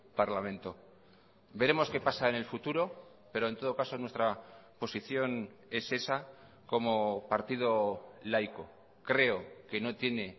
parlamento veremos qué pasa en el futuro pero en todo caso nuestra posición es esa como partido laico creo que no tiene